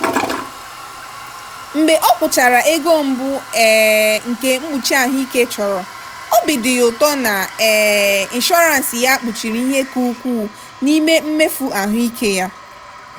mgbe o kwụchara ego mbụ um nke mkpuchi ahụike chọrọ obi dị ya ụtọ na um inshọrans ya kpuchiri ihe ka ukwuu n'ime mmefu ahụike ya.